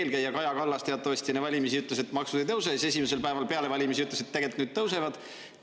Teie eelkäija Kaja Kallas teatavasti enne valimisi ütles, et maksud ei tõuse, ja siis esimesel päeval peale valimisi ütles, et tegelikult tõusevad.